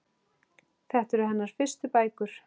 Þetta eru hennar fyrstu bækur.